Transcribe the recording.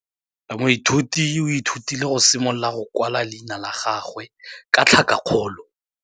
Moithuti o ithutile go simolola go kwala leina la gagwe ka tlhakakgolo.